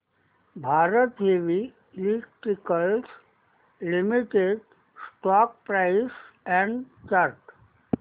Bharat heavy electricals limited stock price and chart